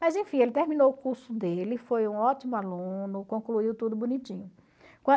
Mas enfim, ele terminou o curso dele, foi um ótimo aluno, concluiu tudo bonitinho.